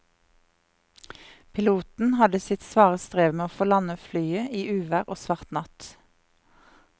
Piloten hadde sitt svare strev med å få landet flyet i uvær og svart natt.